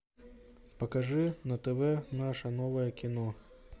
покажи на тв наше новое кино